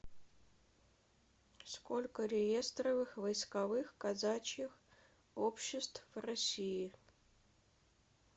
сколько реестровых войсковых казачьих обществ в россии